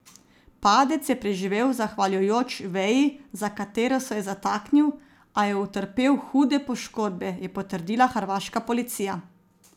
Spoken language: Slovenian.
Padec je preživel zahvaljujoč veji, za katero se je zataknil, a je utrpel hude poškodbe, je potrdila hrvaška policija.